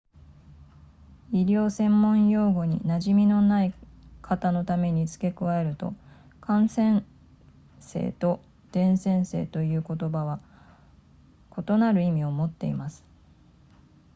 医療専門用語に馴染みのない方のために付け加えると感染性と伝染性という言葉は異なる意味を持っています